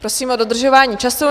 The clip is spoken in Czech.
Prosím o dodržování času.